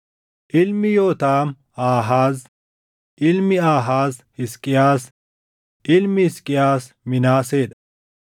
ilmi Yootaam Aahaaz; ilmi Aahaaz Hisqiyaas; ilmi Hisqiyaas Minaasee dha;